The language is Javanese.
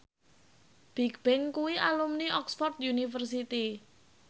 Bigbang kuwi alumni Oxford university